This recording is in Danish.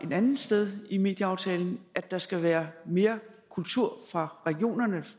et andet sted i medieaftalen bedt at der skal være mere kultur fra regionerne